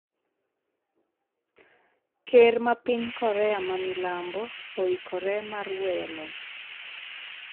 ker ma piny Korea ma milambo oikore mar weyo loch